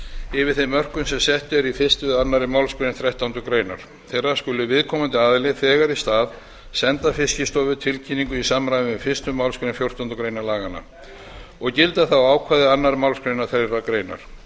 yfir þeim mörkum sem sett eru í fyrsta eða annarrar málsgreinar þrettándu grein skuli viðkomandi aðili þegar í stað senda fiskistofu tilkynningu í samræmi við fyrstu málsgrein fjórtándu greinar laganna og gilda þá ákvæði annarrar málsgreinar þeirrar greinar